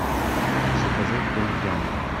заказать том ям